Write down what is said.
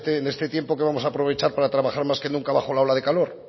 en este tiempo que vamos a aprovechar para trabajar más que nunca bajo la ola de calor